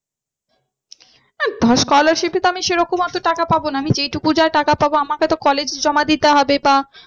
আহ scholarship এ তো আমি সেরকম অত টাকা পাবো না আমি যেই টুকু যা টাকা পাবো আমাকে তো college এ জমা দিতে হবে বা